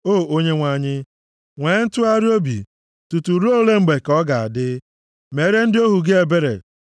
O Onyenwe anyị, nwee ntụgharị obi! Tutu ruo ole mgbe ka ọ ga-adị? Meere ndị ohu gị ebere.